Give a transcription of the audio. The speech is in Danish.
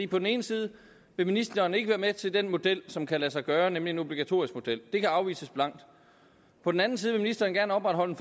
på den ene side vil ministeren ikke være med til den model som kan lade sig gøre nemlig en obligatorisk model det afvises blankt på den anden side vil ministeren gerne opretholde